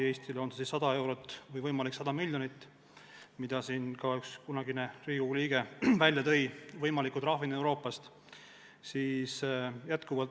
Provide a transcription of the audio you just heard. Eestile oleks see ehk tähendanud 100 miljonit eurot, nagu ka üks kunagine Riigikogu liige välja tõi, rääkides võimalikust Euroopa liidu trahvist.